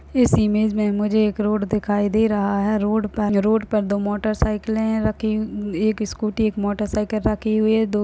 इस इमेज में मुझे एक रोड दिखाई दे रहा है। रोड पे रोड पर दो मोटरसाइकिल रखी। एक स्कूटी एक मोटरसाइकिल रखी हुई है। दो --